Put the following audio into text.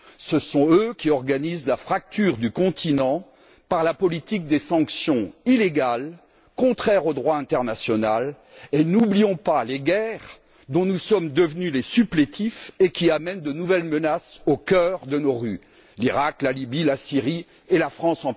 Ce sont eux qui organisent la fracture du continent par la politique des sanctions illégales contraires au droit international. Et n'oublions pas les guerres dont nous sommes devenus les supplétifs et qui amènent de nouvelles menaces au cœur de nos rues La France